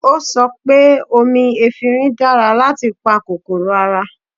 O sọ pé omi efinrin dára láti pa kòkòrò ara